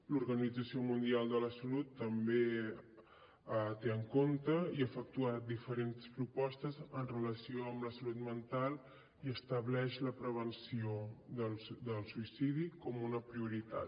l’organització mundial de la salut també ho té en compte i ha efectuat diverses propostes amb relació a la salut mental i estableix la prevenció del suïcidi com una prioritat